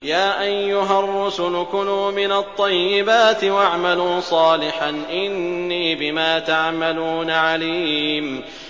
يَا أَيُّهَا الرُّسُلُ كُلُوا مِنَ الطَّيِّبَاتِ وَاعْمَلُوا صَالِحًا ۖ إِنِّي بِمَا تَعْمَلُونَ عَلِيمٌ